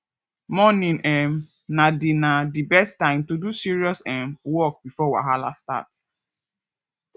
morning um na the na the best time to do serious um work before wahala start